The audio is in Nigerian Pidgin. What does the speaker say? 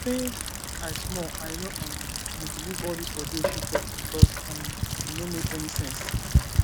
um since i small i no um dey believe all dis odeshi talk because um e no make any sense